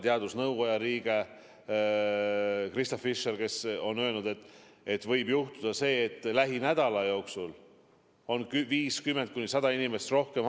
Teadusnõukoja liige Krista Fischer on öelnud, et võib juhtuda see, et lähinädala jooksul on haiglates 50–100 inimest rohkem.